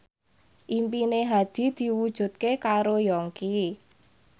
impine Hadi diwujudke karo Yongki